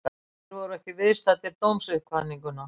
Þeir voru ekki viðstaddir dómsuppkvaðninguna